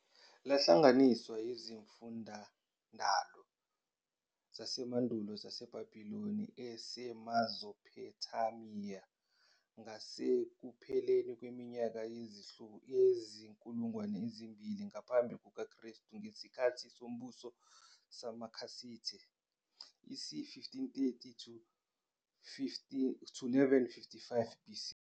lahlanganiswa izimfundindalo zasemandulo zamaBhebiloni aseMezophothamiya ngasekupheleni kweminyaka yezinkulungwane ezimbili ngaphambi kuka kristu, ngezikhathi sombuso samaKhasithe isi 1531 to 1155 BC.